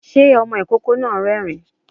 Sé ọmọ ìkókó náà rérìn-ín?